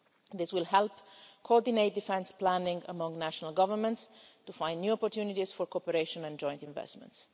year. This will help coordinate defence planning among national governments to find new opportunities for cooperation and joint investments.